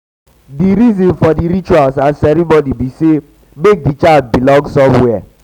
the reason for di rituals and ceremony be say make di child belong somewhere